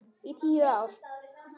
Í tíu ár.